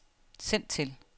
send til